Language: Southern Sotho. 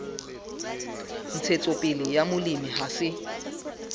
ntshetsopele ya molemi ha se